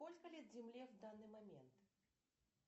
сколько лет земле в данный момент